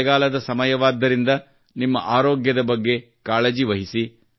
ಮಳೆಗಾಲದ ಸಮಯವಾದ್ದರಿಂದ ನಿಮ್ಮ ಆರೋಗ್ಯದ ಬಗ್ಗೆ ಕಾಳಜಿ ವಹಿಸಿ